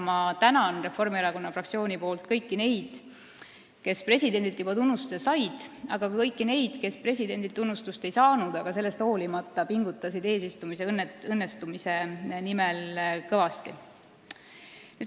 Ma tänan Reformierakonna fraktsiooni nimel kõiki neid, kes presidendilt juba tunnustuse said, ja ka kõiki neid, kes presidendilt tunnustust ei saanud, aga sellest hoolimata eesistumise õnnestumise nimel kõvasti pingutasid.